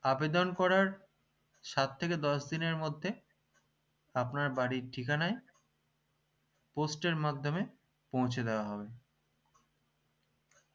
আবেদন করার সাত থেকে দশ দিনের মধ্যে আপনার বাড়ির ঠিকানায় post এর মাধ্যমে পৌঁছে দেওয়া হবে